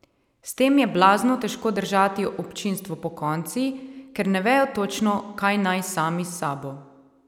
S tem je blazno težko držati občinstvo pokonci, ker ne vejo točno, kaj naj sami s sabo.